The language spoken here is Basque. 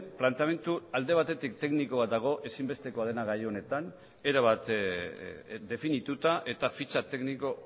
planteamendu alde batetik tekniko bat dago ezinbestekoa dena gai honetan erabat definituta eta fitxa tekniko